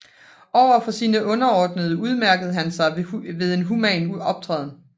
Over for sine underordnede udmærkede han sig ved en human optræden